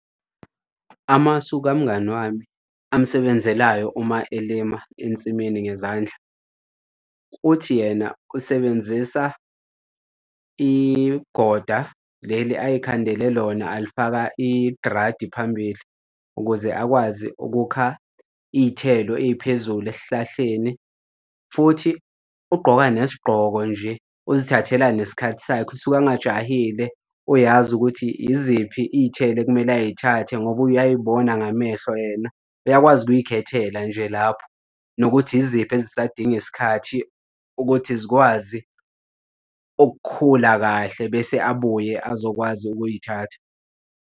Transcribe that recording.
Amasu kamngani wami, amsebenzelayo uma elima ensimini ngezandla, uthi yena usebenzisa igoda leli ayekhandele lona alifaka idradi phambili, ukuze akwazi ukukha iy'thelo ey'phezulu esihlahleni. Futhi ugqoka nesigqoko nje uzithathela nesikhathi sakhe usuke angajahile uyazi ukuthi iziphi iy'thelo ekumele ay'thathe ngoba uyay'bona ngamehlo yena uyakwazi ukuy'khethela nje lapho nokuthi yiziphi esisadinga isikhathi ukuthi zikwazi ukukhula kahle bese abuye azokwazi ukuy'thatha.